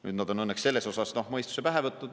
Nüüd on nad õnneks selles asjas mõistuse pähe võtnud.